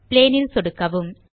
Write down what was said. plane ல் சொடுக்கவும்